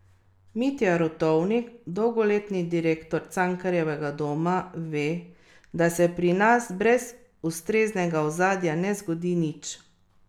Mitja Rotovnik, dolgoletni direktor Cankarjevega doma, ve, da se pri nas brez ustreznega ozadja ne zgodi nič.